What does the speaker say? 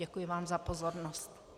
Děkuji vám za pozornost.